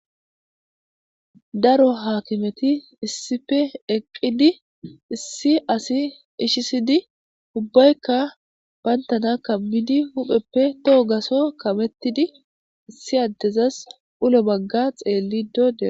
Daro hakimethi issippe eqidi issi assi ishisidi ubaykka banthana kamidi hupheppe toho gasso kamethidi issi addezas ullo bagga xelide deo'ssonna.